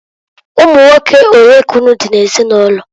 Ụmụnwoke olee ka unu di n'ezinụlọ?